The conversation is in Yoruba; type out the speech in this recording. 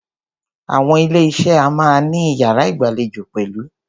Àwọn ilé iṣé a máà ní iyàrá ìgbàlejò pẹ̀lú.